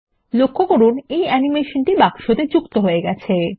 লক্ষ্য করুন এই অ্যানিমেশনটি বাক্সতে যুক্ত হয়ে গেছে